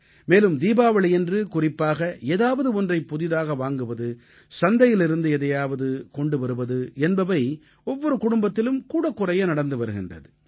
மேலும் தீபாவளியன்று குறிப்பாக ஏதாவது ஒன்றைப் புதியதாக வாங்குவது சந்தையிலிருந்து எதையாவது கொண்டு வருவது என்பவை ஒவ்வொரு குடும்பத்திலும் கூடக்குறைய நடந்து வருகின்றது